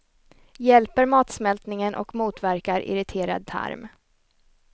Hjälper matsmältningen och motverkar irriterad tarm.